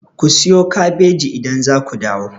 Ku siyo kabeji idan za ku dawo!